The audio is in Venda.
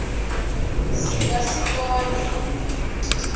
si nga si kone u